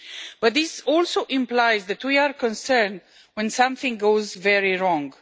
But this also implies that we are concerned when something goes very wrong.